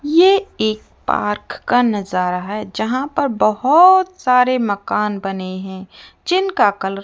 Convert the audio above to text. यह एक पार्क का नजारा है जहां पर बहुत सारे मकान बने हैं जिनका कलर --